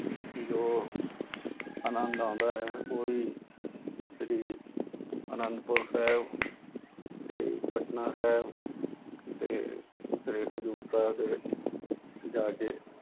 ਜੋ ਆਨੰਦ ਆਉਂਦਾ ਹੈ ਉਹੀ ਸ੍ਰੀ ਆਨੰਦਪੁਰ ਸਾਹਿਬ ਤੇ ਪਟਨਾ ਸਾਹਿਬ ਤੇ ਸ੍ਰੀ ਹਜ਼ੂਰ ਸਾਹਿਬ ਦੇ ਵਿੱਚ ਜਾ ਕੇ